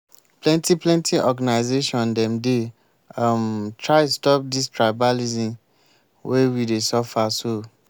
plenty plenty organisation dem dey um try stop dis tribalism wey we dey suffer so.